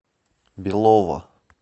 белово